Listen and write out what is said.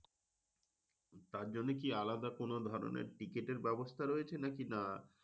তার জন্য কি আলাদা কোন ধরনের টিকিটের ব্যবস্থা রয়েছে? নাকি না?